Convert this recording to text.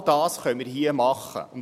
Genau dies können wir hier tun.